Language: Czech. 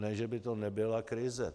Ne že by to nebyla krize.